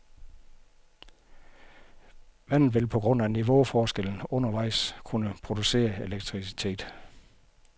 Vandet vil på grund af niveauforskellen undervejs kunne producere elektricitet.